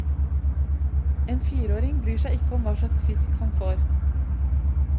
En fireåring bryr seg ikke om hva slags fisk han får.